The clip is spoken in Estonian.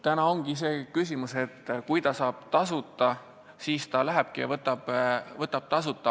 Praegu ongi see küsimus, et kui noor inimene saab tasuta õppida, siis ta lähebki ja õpib tasuta.